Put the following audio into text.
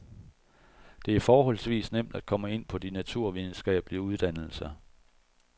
Det er forholdsvis nemt at komme ind på de naturvidenskabelige uddannelser.